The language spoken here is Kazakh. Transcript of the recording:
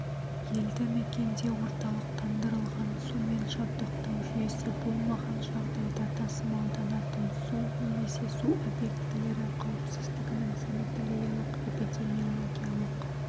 елді мекенде орталықтандырылған сумен жабдықтау жүйесі болмаған жағдайда тасымалданатын су немесе су объектілері қауіпсіздігінің санитариялық-эпидемиологиялық